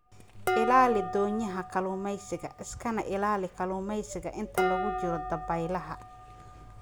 Ilaali doonyaha kalluumaysiga iskana ilaali kalluumaysiga inta lagu jiro dabaylaha.